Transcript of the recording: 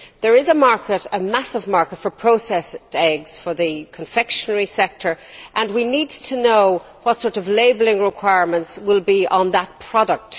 There is, however, a massive market for processed eggs for the confectionery sector and we need to know what sort of labelling requirements there will be for that product.